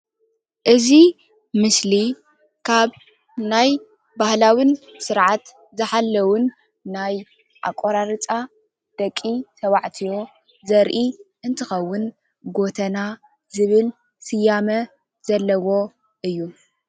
እዚ ምስሊ ካብ ናይ ባህላዊን ስርዓት ዝሓለዉን ናይ ኣቆራርፃ ደቂ ተባዕትዮ ዘርኢ እንትከዉን ጎተና ዝብል ስያመ ዘለዎ እዩ።